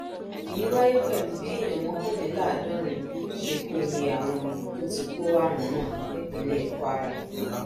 èyí wáyé pẹlú bí èèyàn mọkànléláàádọrin ṣe kún iye àwọn tó ti kó àrùn náà nípínlẹ kwara